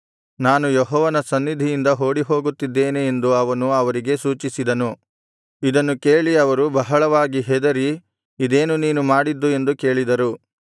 ನಾನು ಯೆಹೋವನ ಸನ್ನಿಧಿಯಿಂದ ಓಡಿಹೋಗುತ್ತಿದ್ದೇನೆ ಎಂದು ಅವನು ಅವರಿಗೆ ಸೂಚಿಸಿದನು ಇದನ್ನು ಕೇಳಿ ಅವರು ಬಹಳವಾಗಿ ಹೆದರಿ ಇದೇನು ನೀನು ಮಾಡಿದ್ದು ಎಂದು ಕೇಳಿದರು